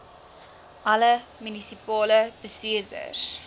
alle munisipale bestuurders